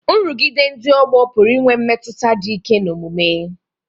Nrụgide ndị ọgbọ pụrụ inwe mmetụta dị ike n'omume